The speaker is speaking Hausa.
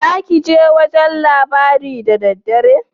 Zakije wajan labari da daddare?